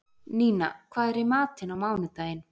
Nína, hvað er í matinn á mánudaginn?